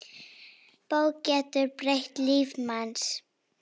Bók getur breytt lífi manns.